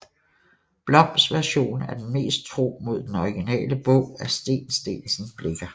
Bloms version er den mest tro mod den originale bog af Steen Steensen Blicher